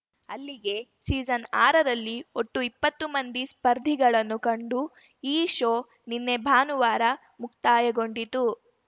ಅಲ್ಲಿಗೆ ಸೀಸನ್‌ಆರರಲ್ಲಿ ಒಟ್ಟು ಇಪ್ಪತ್ತು ಮಂದಿ ಸ್ಪರ್ಧಿಗಳನ್ನು ಕಂಡು ಈ ಶೋ ನಿನ್ನೆ ಭಾನುವಾರ ಮುಕ್ತಾಯಗೊಂಡಿತು